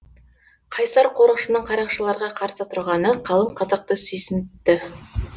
қайсар қорықшының қарақшыларға қарсы тұрғаны қалың қазақты сүйсінтті